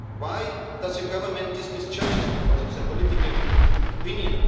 Why does your Government dismiss churches because of their political opinion?